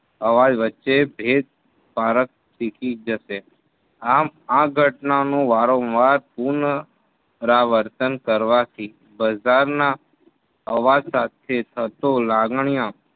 અવાજ વચ્ચે ભેદ પારક ફીકી જશે આમ આ ઘટનાનું વારંવાર પુનરાવર્તન કરવાથી બઝારના અવાજ સાથે થતો લાગણીઓ